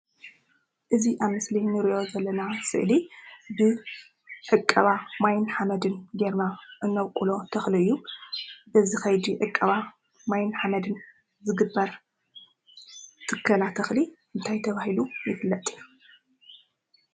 እዚ ኣብ ምስሊ ንሪኦ ዘለና ስእሊ ብዕቀባ ማይን ሓመድን ጌርና እነብቊሎ ተኽሊ እዩ፡፡ እዚ ከይዲ ዕቀባ ማይን ሓመድን ዝግበር ተኸላ ትከላ እንታይ ተባሂሉ ይፍለጥ?